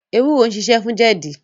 Ewúro ń ṣiṣẹ́ fún jẹ̀dí.